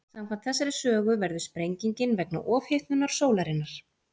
Samkvæmt þessari sögu verður sprengingin vegna ofhitnunar sólarinnar.